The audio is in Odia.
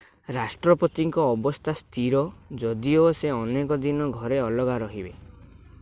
ରାଷ୍ଟ୍ରପତିଙ୍କ ଅବସ୍ଥା ସ୍ଥିର ଯଦିଓ ସେ ଅନେକ ଦିନ ଘରେ ଅଲଗା ରହିବେ